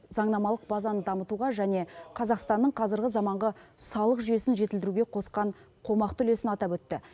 заңнамалық базаны дамытуға және қазақстанның қазіргі заманғы салық жүйесін жетілдіруге қосқан қомақты үлесін атап өтті